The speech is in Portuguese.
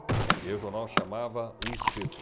E aí o jornal chamava o espeto.